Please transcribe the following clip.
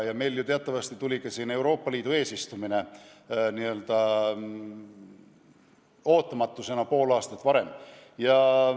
Ja teatavasti tuli ka Euroopa Liidu eesistumine meie jaoks n-ö ootamatusena pool aastat varem.